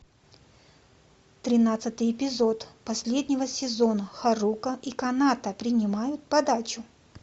тринадцатый эпизод последнего сезона харука и каната принимают подачу